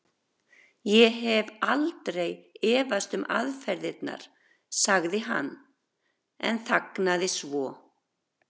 Ég hef aldrei efast um aðferðirnar. sagði hann en þagnaði svo.